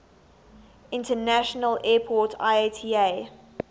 international airport iata